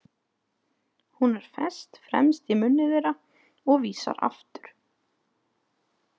Hún er fest fremst í munni þeirra og vísar aftur.